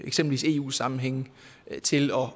eksempel eu sammenhænge til at